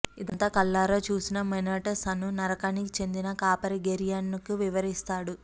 ఇదంతా కళ్ళారా చూసిన మెనొటెస్ అను నరకానికి చెందిన కాపరి గెర్యాన్ కు వివరిస్తాడు